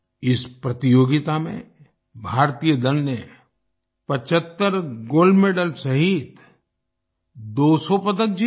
इस प्रतियोगिता में भारतीय दल ने 75 गोल्ड मेडल्स सहित 200 पदक जीते